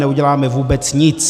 Neuděláme vůbec nic.